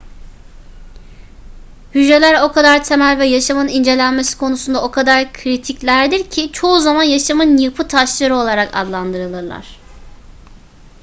hücreler o kadar temel ve yaşamın incelenmesi konusunda o kadar kritiklerdir ki çoğu zaman yaşamın yapıtaşları olarak adlandırılırlar